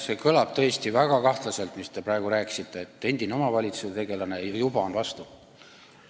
See kõlab tõesti väga kahtlaselt, mis te praegu rääkisite: olete omavalitsusega seotud tegelane ja juba vastu!